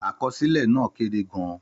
Àkọsílẹ̀ náà kéré gan-an.